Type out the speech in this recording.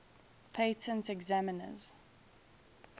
patent examiners